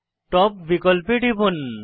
top বিকল্পে টিপুন